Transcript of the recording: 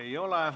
Ei ole.